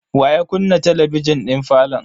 Wa ya kunna talabijin din falon?